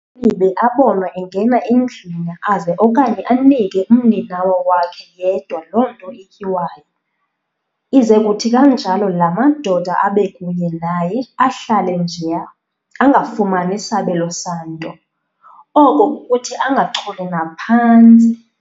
ULibe abonwe engena endlwini aze okanye anike umninawa wakhe yedwa loo nto ityiwayo, ize kuthi kunjalo laa madoda abe kunye naye ahlale njeya, angafumani sabelo santo, oko kukuthi angacholi naphantsi.